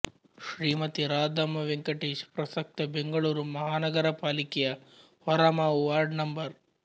ಶ್ರೀಮತಿ ರಾಧಮ್ಮ ವೆಂಕಟೇಶ್ ಪ್ರಸಕ್ತ ಬೆಂಗಳೂರು ಮಹಾನಗರ ಪಾಲಿಕೆ ಯ ಹೊರಮಾವು ವಾರ್ಡ್ ನಂ